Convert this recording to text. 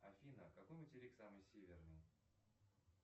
афина какой материк самый северный